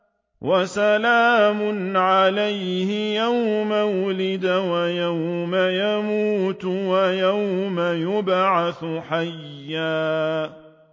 وَسَلَامٌ عَلَيْهِ يَوْمَ وُلِدَ وَيَوْمَ يَمُوتُ وَيَوْمَ يُبْعَثُ حَيًّا